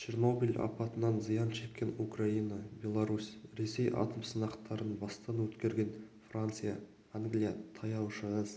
чернобыль апатынан зиян шеккен украина беларусь ресей атом сынақтарын бастан өткерген франция англия таяу шығыс